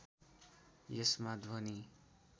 यसमा ध्वनि